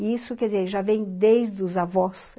E isso, quer dizer, já vem desde os avós.